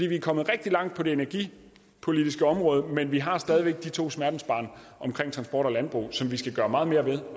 vi er kommet rigtig langt på det energipolitiske område men vi har stadig væk de to smertensbørn transport og landbrug som vi skal gøre meget mere ved